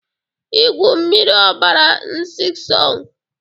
Igwu mịrị ọbara Nsisong